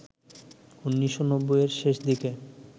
১৯৯০-এর শেষ দিকে